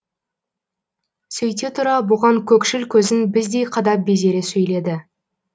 сөйте тұра бұған көкшіл көзін біздей қадап безере сөйледі